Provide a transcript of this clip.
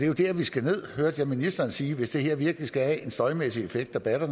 jo der vi skal ned hørte jeg ministeren sige hvis det her virkelig skal have en støjmæssig effekt der batter